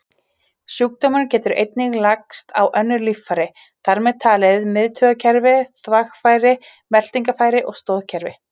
Sjúkdómurinn getur einnig lagst á önnur líffæri, þar með talið miðtaugakerfi, þvagfæri, meltingarfæri og stoðkerfi.